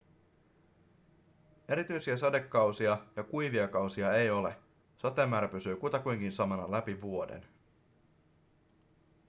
erityisiä sadekausia ja kuivia kausia ei ole sateen määrä pysyy kutakuinkin samana läpi vuoden